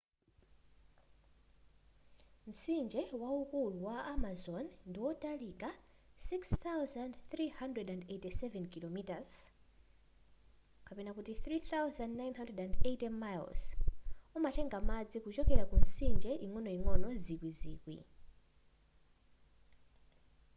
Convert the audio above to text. mtsinje waukulu wa amazon ndiwotalika 6,387 km 3,980 miles. umatenga madzi kuchokera ku mitsinje ing'onoing'ono zikwizikwi